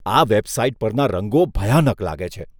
આ વેબસાઇટ પરના રંગો ભયાનક લાગે છે.